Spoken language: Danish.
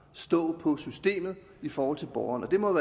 stå på systemet i forhold til borgeren og det må jo